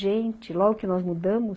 Gente, logo que nós mudamos...